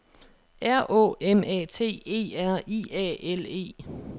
R Å M A T E R I A L E